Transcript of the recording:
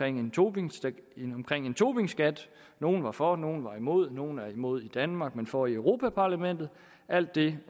en tobinskat tobinskat nogle var for nogle var imod nogle er imod i danmark men for i europa parlamentet alt det